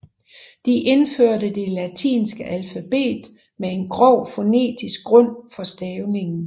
De indførte det latinske alfabet med en grov fonetisk grund for stavningen